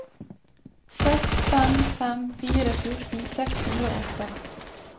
seks fem fem fire fjorten seks hundre og åtte